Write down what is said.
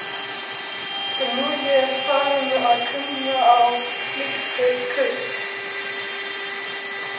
En nú er ég farin að kunna á slík köst.